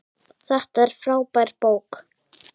Þetta er frábær bók.